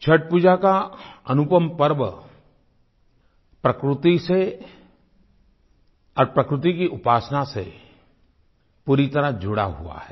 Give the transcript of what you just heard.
छठपूजा का अनुपमपर्व प्रकृति से और प्रकृति की उपासना से पूरी तरह जुड़ा हुआ है